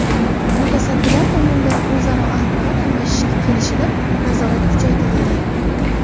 Mutasaddilar tomonidan o‘zaro axborot almashishga kelishilib, nazorat kuchaytirildi.